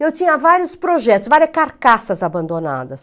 Eu tinha vários projetos, várias carcaças abandonadas.